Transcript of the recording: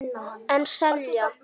En selja.